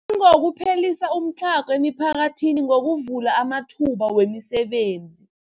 Nangokuphelisa umtlhago emiphakathini ngokuvula amathuba wemisebenzi.